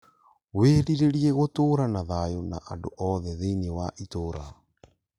Wĩrirĩrie gũtũũra na thayũ na andũ othe thĩinĩ wa itũũra